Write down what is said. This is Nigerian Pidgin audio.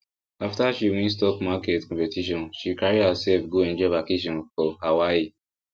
after she win stock market competition she carry herself go enjoy vacation for hawaii